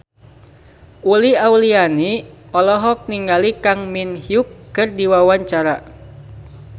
Uli Auliani olohok ningali Kang Min Hyuk keur diwawancara